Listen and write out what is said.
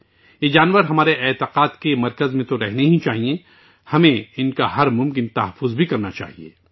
ان جانوروں کو ہمارے عقیدے کا مرکز رہنا چاہیے، ہمیں بھی ہر ممکن طریقے سے ان کی حفاظت کرنی چاہیے